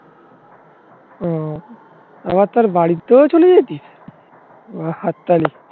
ও আবার তার বাড়িতেও চলে যাবি? বা হাততালি